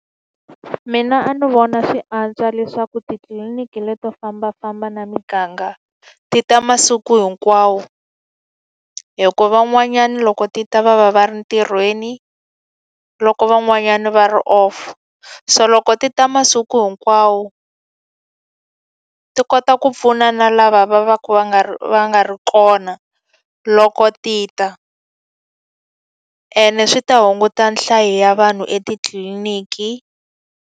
Mina a ni vona swi antswa leswaku titliliniki leto fambafamba na miganga, ti ta masiku hinkwawo. Hikuva van'wanyana loko ti ta va va va ri ntirhweni, loko van'wanyani va ri off. So loko ti ta masiku hinkwawo, ti kota ku pfuna na lava va va ka va nga ri va nga ri kona loko ti ta. Ene swi ta hunguta nhlayo ya vanhu etitliniki.